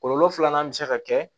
Kɔlɔlɔ filanan bɛ se ka kɛ